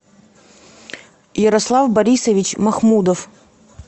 ярослав борисович махмудов